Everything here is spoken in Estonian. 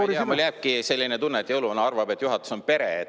No ma ei tea, mulle jääbki selline tunne, et jõuluvana arvab, et juhatus on pere.